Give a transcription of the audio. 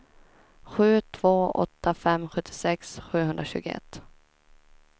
sju två åtta fem sjuttiosex sjuhundratjugoett